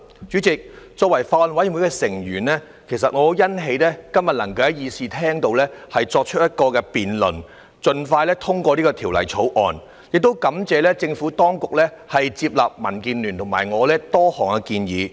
主席，作為法案委員會的成員，其實我很欣喜今天能夠在議事廳作出辯論，盡快通過《條例草案》，亦感謝政府當局接納民建聯和我的多項建議。